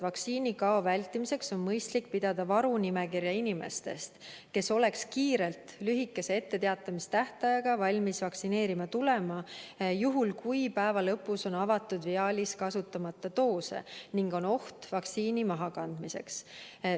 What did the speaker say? Suunise järgi on vaktsiinikao vältimiseks mõistlik pidada varunimekirja inimestest, kes oleks kiiresti, lühikese etteteatamistähtajaga valmis vaktsineerima tulema juhul, kui päeva lõpus on avatud viaalis kasutamata doose ning on oht, et vaktsiin läheb mahakandmisele.